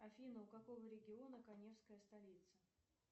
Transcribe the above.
афина у какого региона каневская столица